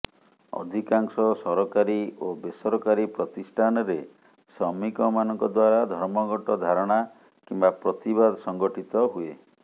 ଅଧିକାଂଶ ସରକାରୀ ଓ ବେସରକାରୀ ପ୍ରତିଷ୍ଠାନରେ ଶ୍ରମିକମାନଙ୍କ ଦ୍ବାରା ଧର୍ମଘଟ ଧାରଣା କିମ୍ବା ପ୍ରତିବାଦ ସଂଗଠିତ ହୁଏ